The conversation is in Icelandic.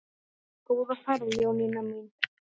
Góða ferð Jónína mín.